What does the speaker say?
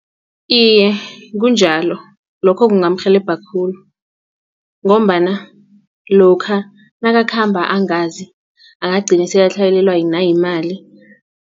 Iye, kunjalo lokho kungamrhelebha khulu ngombana lokha nakakhamba angazi angagcina sele atlhayelelwa nayimali.